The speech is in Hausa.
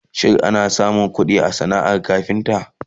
shin ana samun ƙuɗi a sanaar kafinta?